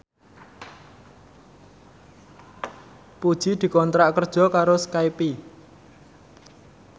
Puji dikontrak kerja karo Skype